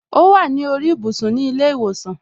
O wa ni orí ibùsùn ni ile iwosan.